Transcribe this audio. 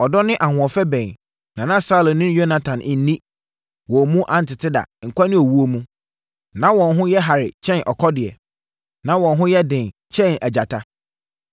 Ɔdɔ ne ahoɔfɛ bɛn na na Saulo ne Yonatan nni, wɔn mu antete da, nkwa ne owuo mu. Na wɔn ho yɛ hare kyɛn akɔdeɛ; na wɔn ho yɛ den kyɛn agyata.